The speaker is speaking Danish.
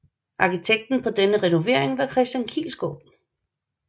Arkitekten på denne renovering var Christian Kiilsgaaard